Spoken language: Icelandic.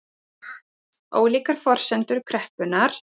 Ólíkar forsendur kreppunnar